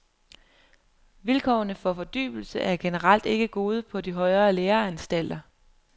Vilkårene for fordybelse er generelt ikke gode på de højere læreanstalter.